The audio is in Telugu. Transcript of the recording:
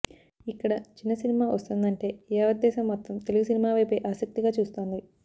ఇక్కడ చిన్న సినిమా వస్తోందంటే యావత్ దేశం మొత్తం తెలుగు సినిమావైపే ఆసక్తిగా చూస్తోంది